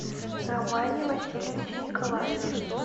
романе васильевиче николаеве